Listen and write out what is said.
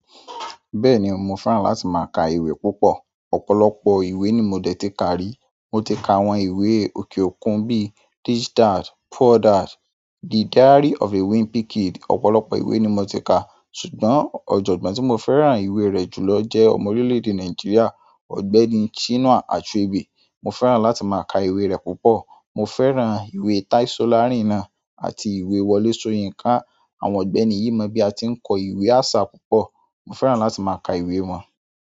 Bẹ́ẹ̀ni mo fẹ́ràn láti má ka ìwé púpọ̀. Ọ̀pọ̀lọpọ̀ ìwé ni mo dẹ̀ ti ka rí. Mo ti ka àwọn ìwé òkè òkun bí i This Dad, Poor Dad, The Diary of a Wimpy Kid. Ọ̀pọ̀lọpọ̀ ìwé ni mo ti ka ṣùgbọ́n ọ̀jọ̀gbọ́n tí mo fẹ́ràn ìwé rẹ̀ jùlọ jẹ́ ọmọ orílè-èdè Nàìjíríà. Ọ̀gbẹ́ni Chinua Achebe. Mo fẹ́ràn láti má ka ìwé rẹ̀ púpọ̀. Mo fẹ́ràn ìwé Tai Solarin àti ìwé Wọlé Soyinka. Àwọn ọ̀gbẹ́ni yìí mọ bí a ti ń kọ ìwé àṣà púpọ̀. Mo fẹ́ràn láti má ka ìwé wọn.